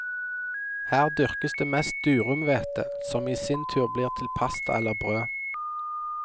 Her dyrkes det mest durumhvete, som i sin tur blir til pasta eller brød.